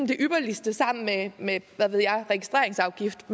det ypperligste sammen med med hvad ved jeg registreringsafgift